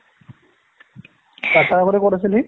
তাৰ আগতে ক'ত আছিল সি?